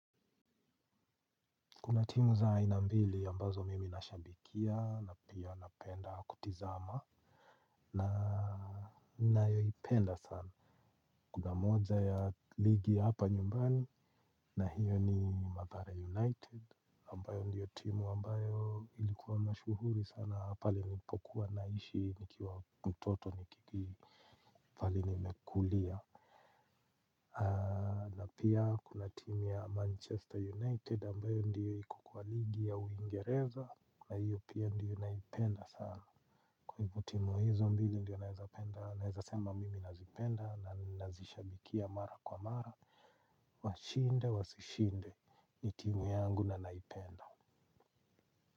Kuna timu za aina mbili ambazo mimi nashabikia na pia napenda kutizama na nayoipenda sana. Kuna moja ya ligi hapa nyumbani na hiyo ni Mathare United ambayo ndiyo timu ambayo ilikuwa mashuhuri sana pale nilipokuwa naishi nikiwa mtoto nikiki pahali nimekulia. Na pia kuna timu ya Manchester United ambayo ndiyo iko kwa ligi ya uingereza na hiyo pia ndiyo naipenda sana. Kwa hivo timu hizo mbili ndiyo naezapenda naeza sema mimi nazipenda na ninazishabikia mara kwa mara. Washinde wasishinde ni timu yangu na naipenda.